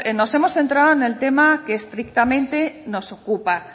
nos hemos centrado en el tema que estrictamente nos ocupa